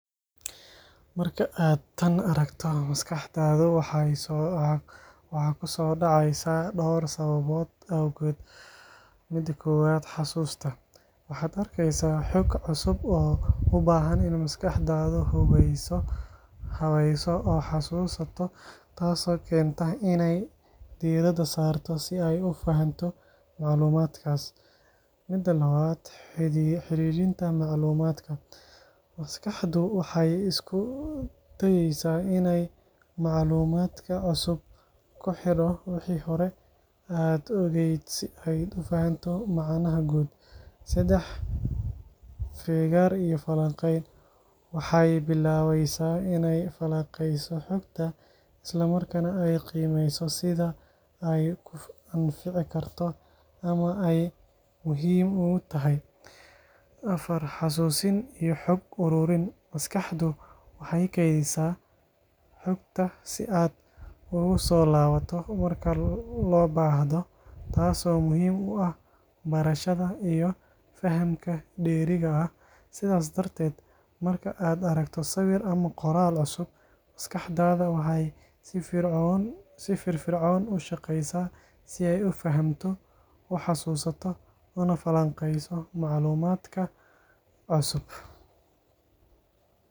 Marka aad tan aragto, maskaxdaadu waxay soo dhacaysaa dhowr sababood awgood: Xasuusta Waxaad arkeysaa xog cusub oo u baahan in maskaxdaadu habayso oo xasuusato, taasoo keenta inay diiradda saarto si ay u fahanto macluumaadkaas. Xidhiidhinta Macluumaadka Maskaxdu waxay isku dayaysaa inay macluumaadka cusub ku xidho wixii hore aad ogayd si ay u fahamto macnaha guud. Feegaar iyo Falanqeyn Waxay bilaabaysaa inay falanqeyso xogta, isla markaana ay qiimeyso sida ay kuu anfici karto ama ay muhiim ugu tahay. Xusuusin iyo Xog Ururin Maskaxdu waxay kaydisaa xogta si aad ugu soo laabato marka loo baahdo, taasoo muhiim u ah barashada iyo fahamka dheeriga ah. Sidaas darteed, marka aad aragto sawir ama qoraal cusub, maskaxdaada waxay si firfircoon u shaqeysaa si ay u fahamto, u xasuusato, una falanqeyso macluumaadka cusub.